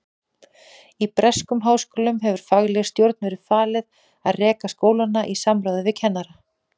Í breskum háskólum hefur faglegri stjórn verið falið að reka skólana í samráði við kennara.